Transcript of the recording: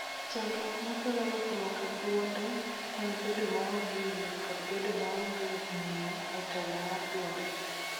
Chandruok ma kelo lokruok e duonde en bedo maonge yie kod bedo maonge ng�iyo e telo mar duonde.